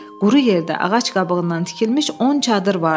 Quru yerdə ağac qabığından tikilmiş on çadır vardı.